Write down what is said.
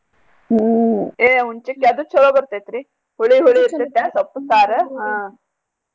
ಹೂ ಏ ಹುಲ್ಚಿಕ್ಕ ಅದೂ ಚೊಲೋ ಬರ್ತೇತ್ ರೀ ಹುಳಿ ಹುಳಿ ಇರ್ತೇತ್ಯಾ ಸೊಪ್ಪು ಸಾರು.